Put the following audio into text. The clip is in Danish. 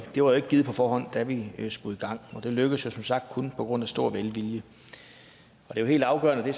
det var jo ikke givet på forhånd da vi skulle i gang og det lykkedes jo som sagt kun på grund af stor velvilje og det er helt afgørende